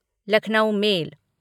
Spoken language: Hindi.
लखनऊ मेल